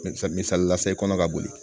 Misali la se kɔnɔ ka boli